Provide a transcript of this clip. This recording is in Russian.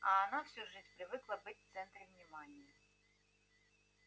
а она всю жизнь привыкла быть в центре внимания